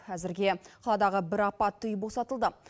әзірге қаладағы бір апатты үй босатылды